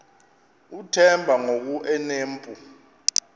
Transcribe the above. uthemba ngoku enompu